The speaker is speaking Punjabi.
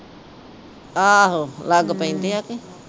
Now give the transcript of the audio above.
ਆਹੋ ਲੱਗ ਪੈਂਦੇ ਆ ਕੇ